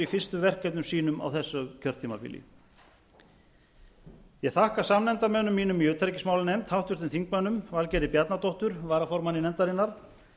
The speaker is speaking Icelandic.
fyrstu verkefnum sínum á þessu kjörtímabili ég þakka samnefndarmönnum mínum í utanríkismálanefnd háttvirtum þingmönnum valgerði bjarnadóttur varaformanni nefndarinnar